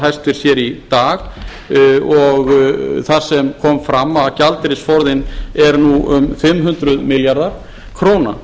hæstvirtur hér í dag þar sem kom fram að gjaldeyrisforðinn er nú um fimm hundruð milljarðar króna